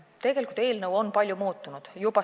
Tegelikult on eelnõu palju muutunud.